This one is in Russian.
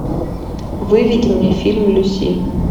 выведи мне фильм люси